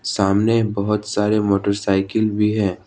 सामने बहुत सारे मोटरसाइकिल भी है।